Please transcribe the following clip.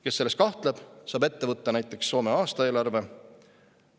Kes selles kahtleb, saab ette võtta näiteks Soome aastaeelarve.